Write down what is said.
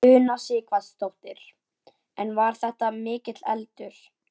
Una Sighvatsdóttir: En var þetta mikill eldur?